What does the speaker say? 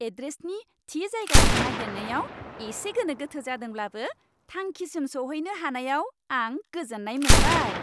एड्रेसनि थि जायगाखौ नागिरनायाव एसे गोनोगोथो जादोंब्लाबो, थांखिसिम सौहैनो हानायाव आं गोजोन्नाय मोनबाय।